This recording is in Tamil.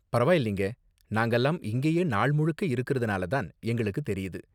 பரவாயில்லைங்க, நாங்கலாம் இங்கேயே நாள் முழுக்க இருக்குறதனால தான் எங்களுக்கு தெரியுது.